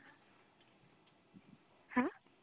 হ্যাঁ...